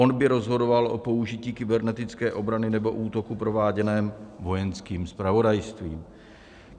On by rozhodoval o použití kybernetické obrany nebo útoku prováděném Vojenským zpravodajstvím.